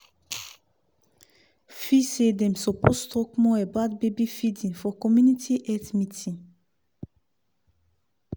feel say dem suppose talk more about baby feeding for community health meeting.